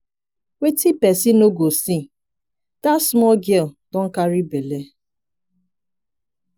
wetin person no go see! dat small girl don carry bele.